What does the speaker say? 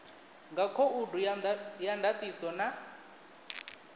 nga khoudu ya ndatiso na